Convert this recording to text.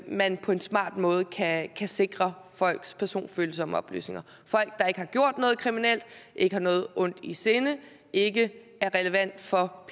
man på en smart måde kan sikre folks personfølsomme oplysninger folk der ikke har gjort noget kriminelt ikke har noget ondt i sinde ikke er relevante for